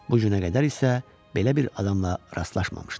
Bu günə qədər isə belə bir adamla rastlaşmamışdı.